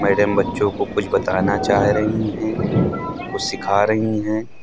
Madam बच्चों को कुछ बताना चाह रही है कुछ सिखा रही हैं।